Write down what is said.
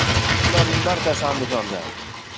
Ularning barchasi Andijondan.